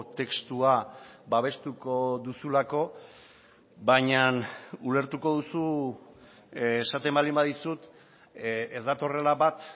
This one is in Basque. testua babestuko duzulako baina ulertuko duzu esaten baldin badizut ez datorrela bat